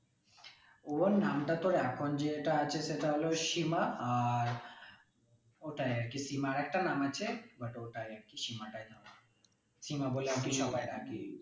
ওর নাম টা তোর এখন যেটা আছে সেটা হল সীমা আর ওটাই আর কি সীমা আর একটা নাম আছে but ওটাই আর কি সীমা টাই নাম। সীমা বলে আর কি সবাই ডাকি।